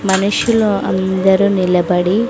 మనుషులు అందరూ నిలబడి.